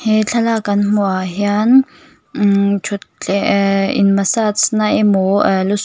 he thlalak kan hmuh ah hian umm in massage na emaw aa lu suk--